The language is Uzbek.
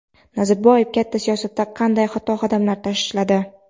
Nazarboyev katta siyosatda qanday xato qadamlar tashladi?.